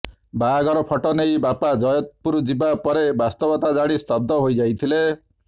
ବାହାଘର ଫଟୋ ନେଇ ବାପା ଜୟପୁର ଯିବା ପରେ ବାସ୍ତବତା ଜାଣି ସ୍ତବ୍ଧ ହୋଇଯାଇଥିଲେ